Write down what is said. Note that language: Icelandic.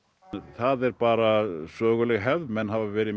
það er bara söguleg hefð menn hafa verið